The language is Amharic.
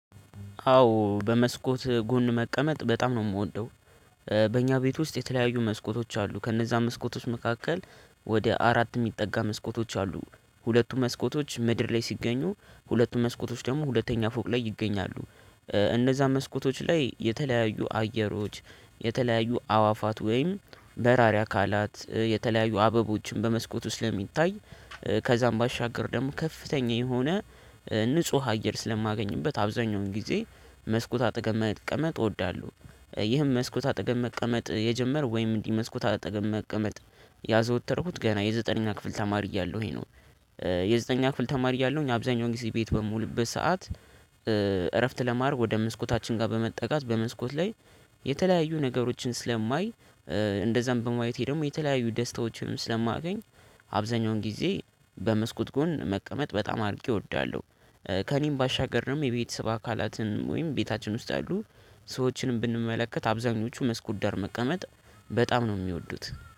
አዎ በመስኮት ጎን መቀመጥ በጣም ነው የምወደው። በእኛ ቤት ውስጥ የተለያዩ መስኮቶች አሉ ከእነዛ መስኮቶች መካከል ወደ አራት የሚጠጋ መስኮቶች አሉ ሁለቱ መስኮቶች ምድር ላይ ሲገኙ ሁለቱ መስኮቶች ደግሞ ሁለተኛ ፎቅ ላይ ይገኛሉ። እነዛ መስኮቶች ላይ የተለያዩ አየሮች የተለያዩ አዋፋት ወይም በራሪ አካላት የተለያዩ አበቦችን በመስኮት ውስጥ ለሚታይ ከዛም ባሻገር ደግሞ ከፍተኛ የሆነ ንጹህ አየር ስለማገኝበት አብዛኛውን ጊዜ መስኮት አጠገብ መቀመጥ እወዳለሁ። ይህም መስኮት አጠገብ መቀመጥ የጀመር ወይም እንዲህ መስኮት አጠገብ መቀመጥ ያዘወተረኩት ገና የዘጠነኛ ክፍል ተማሪ እያለሁኝ ነው። የዘጠነኛ ክፍል ተማሪ እያለሁኝ አብዛኛው ጊዜ ቤት በምውልበት ሰዓት። እረፍት ለማድረግ ወደ መስኮታችን ጋር በመጠጋት በመስኮት ላይ የተለያዩ ነገሮችን ስለማይ እንደዛም በማየቴ ደግሞ የተለያዩ ደስታዎችንም ስለማገኝ። አብዛኛውን ጊዜ በመስኮት ጎን መቀመጥ በጣም አድርጌ እወዳለሁ። ከእኔም ባሻገር ደግሞ የቤተሰብ አካላትን ወይም ቤታችን ውስጥ ያሉ ሰዎችንም ብንመለከት አብዛኞቹ መስኮት ዳር መቀመጥ በጣም ነው የሚወዱት